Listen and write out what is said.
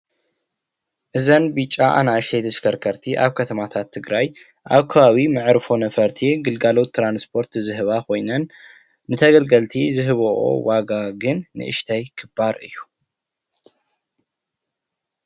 ናይ ህዝቢ ግልጋሎት ዝህባ ብፈላይ ኣብ መንገዲ ኣነር ምምልላስ ይጠቅማ።